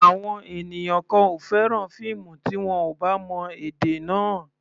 Àwọn ènìyàn kan ò fẹ́ràn fíìmù tí wọn ò bá mọ èdè náà.